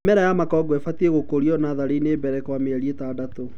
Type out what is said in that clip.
mĩmera ya makongo ĩfatie gũkũrio natharĩini mbele kwa mĩeri ĩtandatũ.